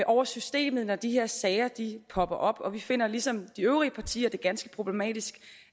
over systemet når de her sager popper op og vi finder ligesom de øvrige partier det ganske problematisk